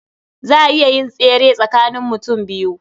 Za a iya yin tsere tsakanin mutum biyu.